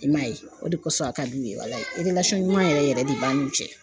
I m'a ye, o de kosɔn a ka di u ye walayi ɲuman yɛrɛ yɛrɛ de b'an n'u cɛ.